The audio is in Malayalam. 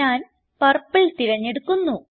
ഞാൻ പർപ്പിൾ തിരഞ്ഞെടുക്കുന്നു